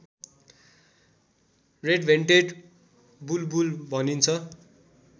red-vented बुलबुल भनिन्छ